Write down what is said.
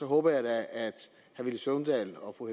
håber jeg da at herre villy søvndal og fru